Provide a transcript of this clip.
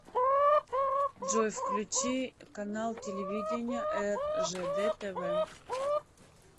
джой включи канал телевидения ржд тв